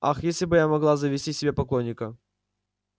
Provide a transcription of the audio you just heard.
ах если бы я могла завести себе поклонника